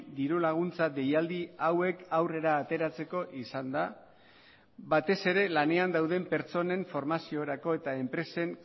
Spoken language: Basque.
dirulaguntza deialdi hauek aurrera ateratzeko izan da batez ere lanean dauden pertsonen formaziorako eta enpresen